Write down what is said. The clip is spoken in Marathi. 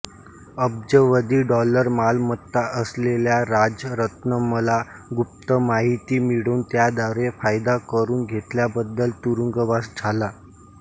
अब्जावधी डॉलर मालमत्ता असलेल्या राजरत्नमला गुप्त माहिती मिळवून त्याद्वारे फायदा करुन घेतल्याबद्दल तुरुंगवास झाला